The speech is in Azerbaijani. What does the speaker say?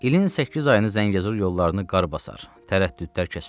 İlin səkkiz ayını Zəngəzur yollarını qar basar, tərəddüdlər kəsilər.